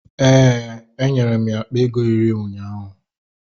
Ee, enwere m ya akpa ego iri ụnyaahụ.